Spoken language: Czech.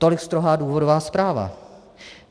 Tolik strohá důvodová zpráva.